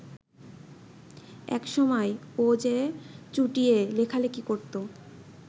একসময় ও যে চুটিয়ে লেখালেখি করত